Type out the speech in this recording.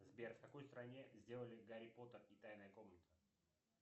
сбер в какой стране сделали гарри поттер и тайная комната